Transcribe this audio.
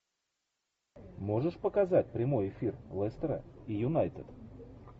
можешь показать прямой эфир лестера и юнайтед